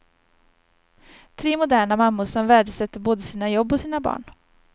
Tre moderna mammor som värdesätter både sina jobb och sina barn.